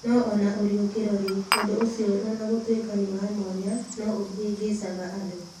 No o na ũriũkio-rĩ, ũndũ ũcio ona gũtuĩka nĩ wa mwanya, no ũhĩngĩcaga andũ.